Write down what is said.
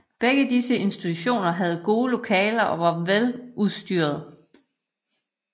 Begge disse institutioner havde gode lokaler og var veludstyrede